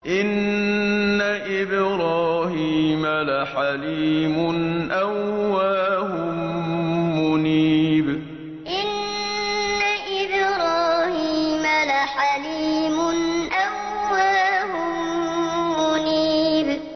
إِنَّ إِبْرَاهِيمَ لَحَلِيمٌ أَوَّاهٌ مُّنِيبٌ إِنَّ إِبْرَاهِيمَ لَحَلِيمٌ أَوَّاهٌ مُّنِيبٌ